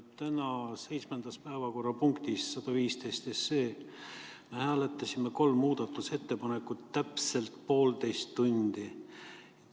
Tänases seitsmendas päevakorrapunktis, 115 SE, me hääletasime kolme muudatusettepanekut täpselt poolteist tundi.